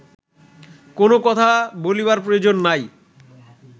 কোন কথা বলিবার প্রয়োজন নাই